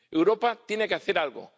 Europa tiene que hacer algo.